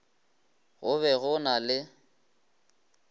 go be go na le